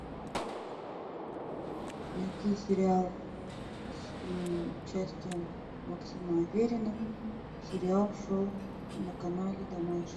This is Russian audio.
найти сериал с участием максима аверина сериал шел на канале домашний